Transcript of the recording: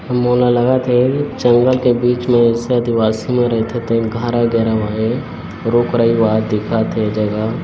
लागत हे जंगल के बिच में ऐसा दिवासी मन रहिथे और घर वगैरा बनाए है पूरा परिवार दिखत हे ए जगह